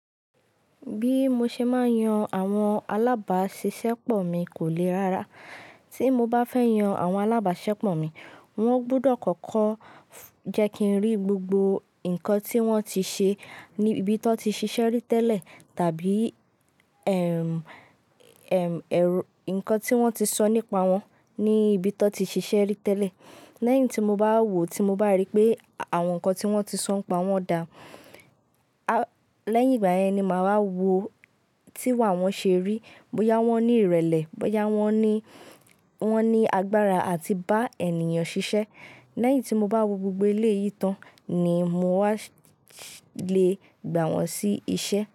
Bí mo ṣe máa yan àwọn alábàáṣiṣẹ́pọ̀ mi kò le rárá. Tí mo bá fẹ́ yan àwọn alábàáṣiṣẹ́pọ̀ mi, wọ́n gbọdọ̀ kọ́kọ́ jẹ́ kí n rí gbogbo ǹkan tí wọ́n ti ṣe ní ibi tí wọ́n ti ṣiṣẹ́ rí tẹ́lẹ̀ tàbí ẹm, ẹm, ẹrú ǹkan tí wọ́n ti sọ nípa wọn ní ibi tí wọ́n ti ṣiṣẹ́ rí tẹ́lẹ̀. Lẹ́yìn tí mo bá wo tí mo bá rí pé àwọn ǹkan tí wọ́n ti sọ pa wọn dà, a lẹ́yìn ìgbà yẹn ni màá wọ tí iwa won ṣe rí, bọ́yá wọ́n ní ìrẹ̀lẹ̀, bọ́yá wọ́n ní, wọ́n ní agbára àti bá ènìyàn ṣiṣẹ́. Lẹ́yìn tí mo bá wo gbogbo eléyìí tán ni mo wá lè gbà wọ́n sí iṣẹ́.